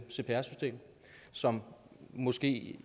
cpr system som måske